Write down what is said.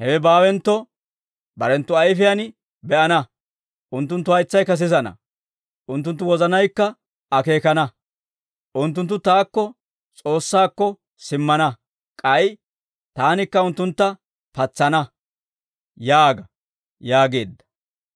Hewe baawentto, barenttu ayfiyaan be'ana; unttunttu haytsaykka sisana; unttunttu wozanaykka akeekana; unttunttu taakko S'oossaakko simmana. K'ay taanikka unttuntta patsana» yaaga› yaageedda.